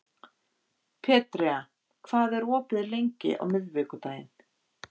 Petrea, hvað er opið lengi á miðvikudaginn?